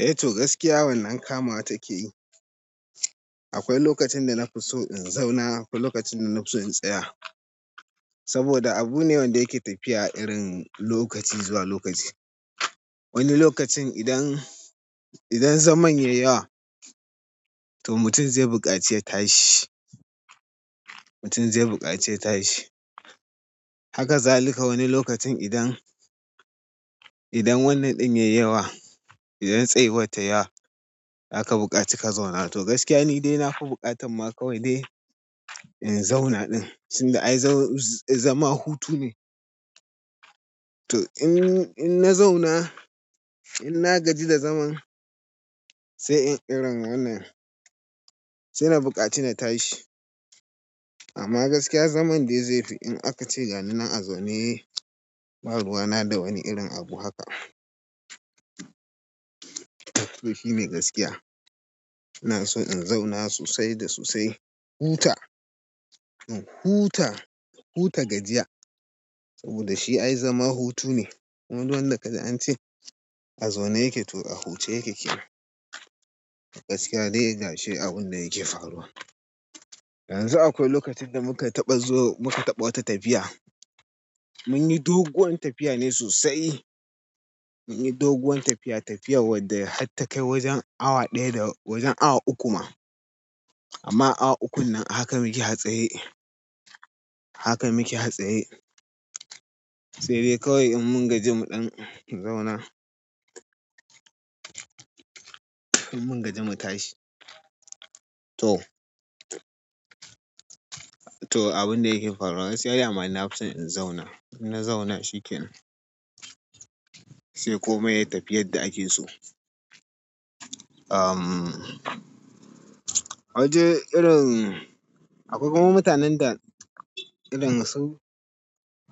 Eh toh gaskiya wannan kamawa takeyi. Akwai lokacin da nafi so in zauna, akwai lokacin da nafi so in tsaya. Saboda abune wanda yake tafiya irin lokaci zuwa lokaci. Wani lokacin idan, idan zaman yayi yawa to mutum zai buƙaci ya tashi. Mutum zai buƙaci ya tashi. Haka zalika wani lokacin idan, idan wannan ɗin yayi yawa, idan tsayuwar tayi yawa zaka buƙaci ka zauna. To gaskiya nidai nafi buƙatan ma kawai dai in zauna ɗin. Tinda ai zama hutu ne. To in, in na zauna, in na gaji da zaman, sai in ƙira wannan. Sai na bukaci na tashi amma gaskiya zaman dai zaifi in akace ganinan a zaune, ba ruwana da wani irin abu haka. To shine gaskiya. Inaso in zauna sosai da sosai. Huta, in huta, huta gajiya. Saboda shi ai zama hutu ne. Kuma duk wanda kaji ance a zaune yake to a huce yake kenan. Gaskiya dai gashi abunda yake faruwa. Yanzu akwai lokacin da muka taɓa zo, muka taɓa wata tafiya. Munyi doguwan tafiya ne sosai. Munyi doguwan tafiya tafiya wadda har takai wajen awa ɗaya da wajen awa uku ma. Amma awa ukun nan haka muke hatsari. Haka muke atsaye. Sai dai kawai in mun gaji mu ɗan zauna. In mun gaji mu tashi. To, to abunda yake faruwa gaskiya dama nafi son in zauna. In na zauna shikenan. Sai kome yayi tafiyar da akeso. Ahh, wajen irin akwai kuma mutanen da irin su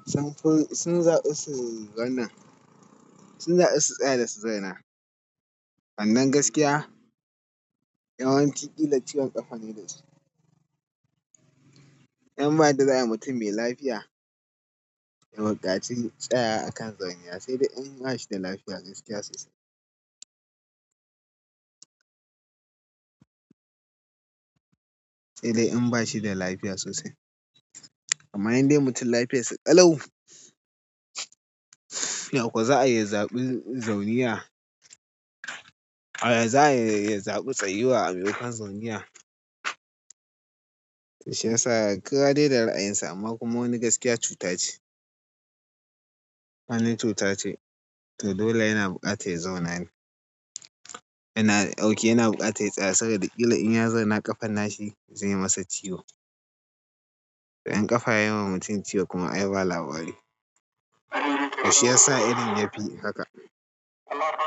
sunfi sun zaɓi su wannan. Sun zabi su tsaya dasu zauna amman gaskiya, yawanci ƙila ciwon ƙafane dasu. Dan ba yadda za'ayi mutum mai lafiya, ya buƙaci tsayawa akan zaune. Saidai in bashi da lafiya gaskiya sosai. Sai dai in ba shi da lafiya sosai. Amma indai mutun lafiyarsa kalau. Ya kuwa za'ayi ya zaɓi zauniya. A yaza iya ya zaɓi tsayuwa a maimokon zauniya. Shiyasa kowa dai da ra'ayinsa amma kuma wani gaskiya cuta ce. Wani cuta ce. To dole yana buƙatar ya zauna ne. Yana ok yana buƙatar ya tsaya saboda ƙila inya zauna ƙafan nashi zaiyi masa ciwo. In ƙafa yayiwa mutum ciwo kuma ai ba labari. To shiyasa irin yafi haka.